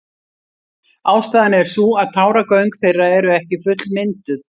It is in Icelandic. Ástæðan er sú að táragöng þeirra eru ekki fullmynduð.